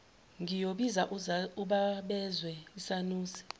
ngiyobiza uzabazezwe isanusi